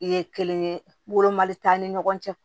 Ye kelen wolomali t'an ni ɲɔgɔn cɛ